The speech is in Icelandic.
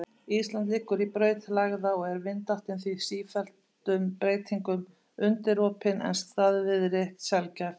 Ísland liggur í braut lægða og er vindáttin því sífelldum breytingum undirorpin en staðviðri sjaldgæf.